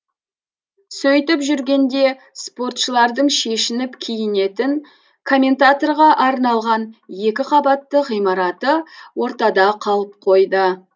сөйтіп жүргенде спортшылардың шешініп киінетін комментаторға арналған екі қабатты ғимараты ортада қалып қойды